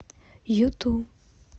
юту